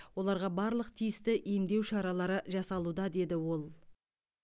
оларға барлық тиісті емдеу шаралары жасалуда деді ол